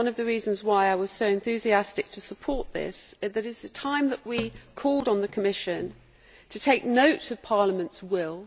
One of the reasons why I was so enthusiastic to support this is that it is time that we called on the Commission to take note of Parliament's will.